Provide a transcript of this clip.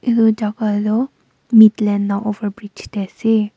etu jaga toh mid land over bridge teh ase.